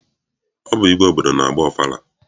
Ọ bụ igwe obodo na-agba ọfala.